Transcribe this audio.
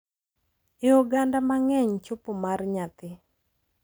E oganda mang’eny, chopo mar nyathi, .